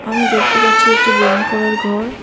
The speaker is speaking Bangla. আমি দেখতে পারছি একটি ব্যায়াম করার ঘর।